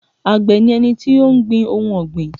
Àgbẹ̀ ni ẹni tó ń gbin ohun ọ̀gbìn